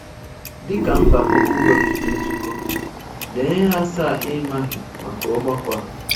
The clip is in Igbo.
Dịka mba Commonwealth na-ezukọ, lee ihe asaa ị maghị maka ọgbakọ a